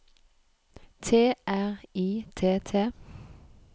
T R I T T